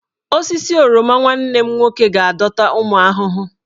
Osisi oroma nwanne m nwoke ga-adọta ụmụ ahụhụ.